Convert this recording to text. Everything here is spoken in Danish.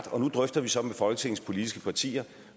og nu drøfter vi så med folketingets politiske partier